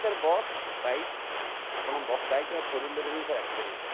sir bus, bike ଆପଣ bike ବା four wheeler ରେ ବି sir ଆସିପାରିବେ sir